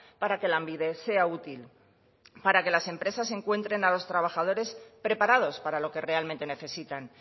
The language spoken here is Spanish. para que lanbide sea útil para que las empresas encuentren a los trabajadores preparados para lo que realmente necesitan